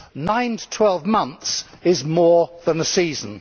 Nine to twelve months is more than a season.